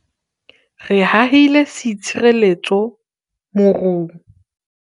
re hahile seitshireletso morung